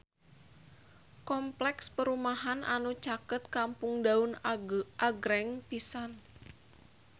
Kompleks perumahan anu caket Kampung Daun agreng pisan